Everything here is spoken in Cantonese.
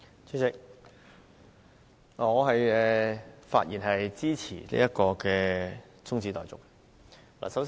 主席，我發言支持中止待續議案。